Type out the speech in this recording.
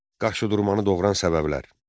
Qaşıdurmanı doğuran səbəblər.